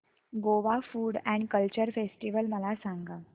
Goa food and culture festival मला सांगा